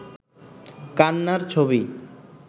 কান্নার ছবি